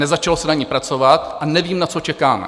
Nezačalo se na ní pracovat a nevím, na co čekáme.